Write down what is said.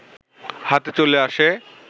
হাতে চলে আসে